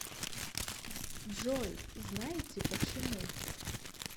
джой знаете почему